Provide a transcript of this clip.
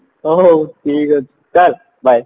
ହଉ ହଉ ଠିକ ଅଛି bye